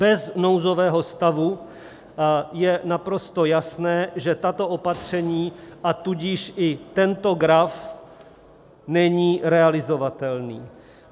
Bez nouzového stavu je naprosto jasné, že tato opatření, a tudíž i tento graf , není realizovatelný.